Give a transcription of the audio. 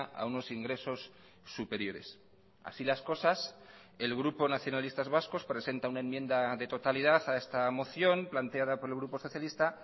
a unos ingresos superiores así las cosas el grupo nacionalistas vascos presenta una enmienda de totalidad a esta moción planteada por el grupo socialista